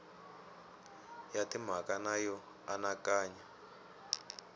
ya timhaka na yo anakanya